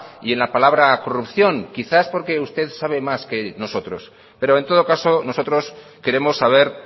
y en la palabra corrupción quizás porque usted sabe más que nosotros pero en todo caso nosotros queremos saber